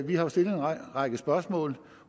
vi har stillet en række spørgsmål